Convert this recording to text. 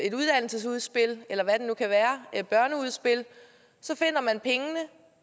et uddannelsesudspil eller hvad det nu kan være et børneudspil og så finder man pengene